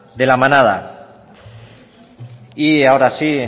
de la manada y ahora sí